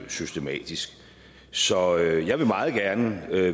systematisk så jeg vil meget gerne